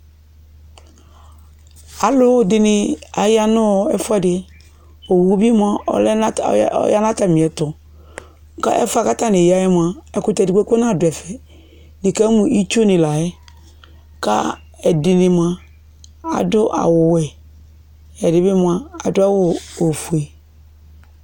Alʋdɩnɩ aya nʋ ɛfʋɛdɩ Owu bɩ mʋa, ɔya nʋ atamɩɛtʋ kʋ ɛfʋ yɛ kʋ atanɩ ya yɛ mʋa, ɛkʋtɛ dɩ kpekpe nadʋ ɛfɛ Nɩkamʋ itsunɩ la yɛ kʋ ɛdɩnɩ mʋa, adʋ awʋwɛ, ɛdɩ bɩ mʋa, adʋ ofue